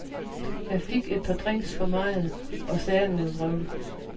Jeg fik et par drinks for meget og sagde noget vrøvl.